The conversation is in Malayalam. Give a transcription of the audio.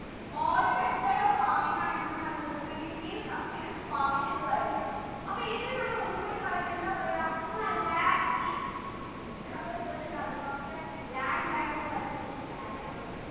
old method of farming ആണ് എന്ത്ന്ന് പറയുന്നത് primitive substenance farming എന്ന് പറയുന്നത് അപ്പൊ ഇതിനെ നമ്മൾ ഒന്നും കൂടി പറയും എന്താ പറയാ ആ lag ഈ miss ന്റെ മക്കൾ full comment box ൽ lag lag എന്ന് പറയുമ്പോ miss ന് lag എന്നാണ്